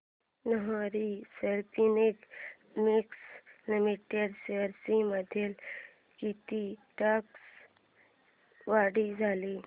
Nahar spinning mills limited shares मध्ये किती टक्क्यांची वाढ झाली